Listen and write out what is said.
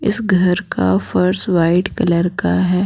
इस घर का फर्श वाइट कलर का है।